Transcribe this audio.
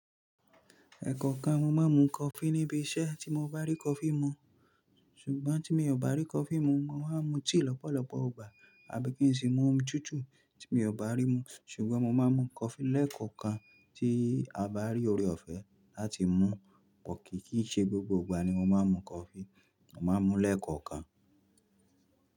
Ẹ̀ẹ̀kọ̀kan ni mo máa ń mu coffee níbi iṣẹ́ tí mo bá rí coffee mu. Ṣùgbọ́n tí mi ò bá rí coffee mu, mo máa ń mu tea lọ́pọ̀lọpọ̀ igbà àbí kí n sì mú omi tútù tí mi ò bá rí mu. Ṣùgbọ́n mo máa ń mu coffee lẹ́ẹ̀kọ̀kan tí a bá rí oore-ọ̀fẹ́ láti mú but kìì kí í ṣe gbogbo ìgbà ni mo máa ń mu coffee, mo máa ń mu lẹ́ẹ̀kọ̀okan.